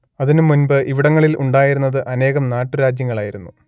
അതിന് മുൻപ് ഇവിടങ്ങളിൽ ഉണ്ടായിരുന്നത് അനേകം നാട്ടുരാജ്യങ്ങളായിരുന്നു